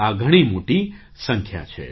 આ ઘણી મોટી સંખ્યા છે